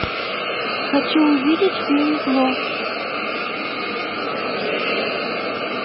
хочу увидеть фильм зло